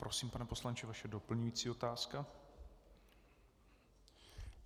Prosím, pane poslanče, vaše doplňující otázka.